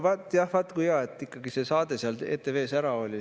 Vaat kui hea, et ikkagi see saade seal ETV-s ära oli.